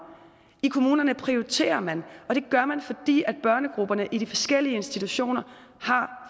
i kommunerne prioriterer man og det gør man fordi børnegrupperne i de forskellige institutioner har